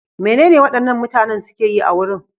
Menene waɗannan mutanen suke yi a wurin?